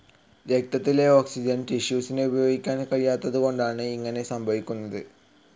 രക്തത്തിലെ ഓക്സിജൻ ടിഷ്യൂസിനു ഉപയോഗിക്കാൻ കഴിയാത്തതുകൊണ്ടാണ് ഇങ്ങനെ സംഭവിക്കുന്നത്.